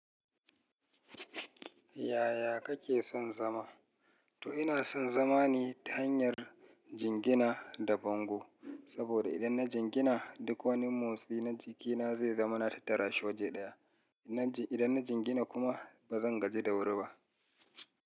Yaya kake son zama? To ina son zama ne ta hanyar jingina da bango. Saboda idan na jingina, duk wani motsi na jikina zai zamana na tattarash waje ɗaya. Idan na jingina kuma ba zan gaji da wuri ba.